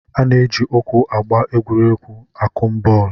A na-eji ụkwụ agba egwuregwu akụmbọọlụ